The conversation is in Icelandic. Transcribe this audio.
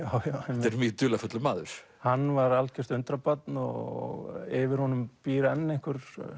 þetta er mjög dularfullur maður hann var algjört undrabarn og yfir honum býr enn einhver